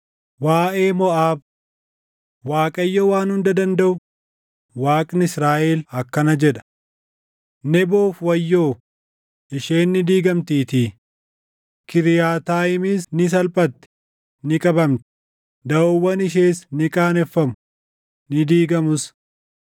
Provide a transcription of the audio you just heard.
Waaʼee Moʼaab: Waaqayyo Waan Hunda Dandaʼu, Waaqni Israaʼel akkana jedha: “Neboof wayyoo; isheen ni diigamtiitii. Kiriyaataayimis ni salphatti; ni qabamti; daʼoowwan ishees ni qaaneffamu; ni diigamus.